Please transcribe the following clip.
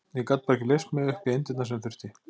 Ég gat bara ekki leyst mig upp í eindirnar sem þurfti.